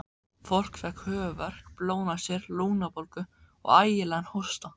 Fólk fékk höfuðverk, blóðnasir, lungnabólgu og ægilegan hósta.